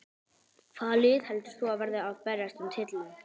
Hvaða lið heldur þú að verði að berjast um titilinn?